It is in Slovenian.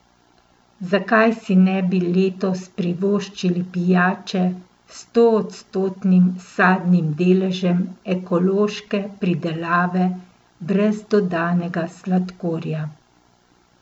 Zakaj si ne bi letos privoščili pijače s stoodstotnim sadnim deležem ekološke pridelave brez dodanega sladkorja?